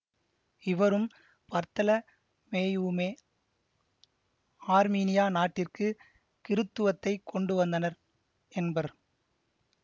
இவரும் பர்த்தல மேயுவுமே ஆர்மீனியா நாட்டிற்க்கு கிறித்துவத்தை கொண்டுவந்தனர் என்பர்